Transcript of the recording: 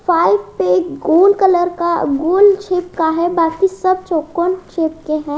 गोल colour का गोल shape का है बाकी सब चौकोंन शेप के हैं।